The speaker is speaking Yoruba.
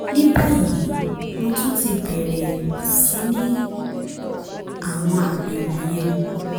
ní báyìí mo tún ti bẹ̀rẹ̀ sí ní àwọn àmì wọ̀nyẹn